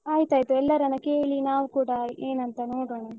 ಆಯ್ತಯ್ತ್ ಎಲ್ಲರನ್ನ ಕೇಳಿ ನಾವ್ ಕೂಡ ಏನ್ ಅಂತ ನೋಡೋಣ.